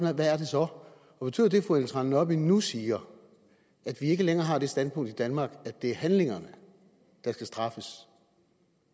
er hvad er det så betyder det fru ellen trane nørby nu siger at vi ikke længere har det standpunkt i danmark at det er handlingerne der skal straffes